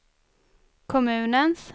kommunens